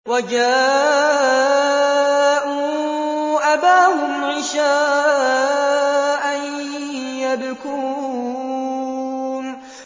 وَجَاءُوا أَبَاهُمْ عِشَاءً يَبْكُونَ